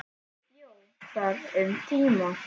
Ég bjó þar um tíma.